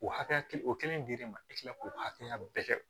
O hakɛya kelen o kelen dir'e ma i tila k'o hakɛya bɛɛ kɛ